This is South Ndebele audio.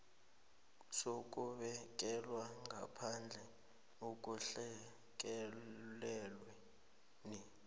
sokubekelwa ngaphandle ekulahlekelweni